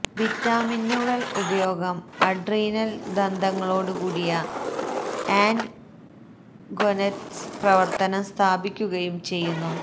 വിറ്റാമിനുകൾ ഉപയോഗം അഡ്രീനൽ ദന്തങ്ങളോടുകൂടിയ and gonads പ്രവർത്തനം സ്ഥാപിക്കുകയും ചെയ്യുന്നു